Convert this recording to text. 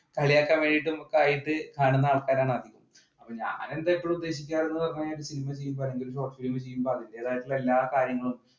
കളിയാക്കാൻ വേണ്ടിയിട്ടും കാണുന്ന ആൾക്കാരാണ് എല്ലാ കാര്യങ്ങളും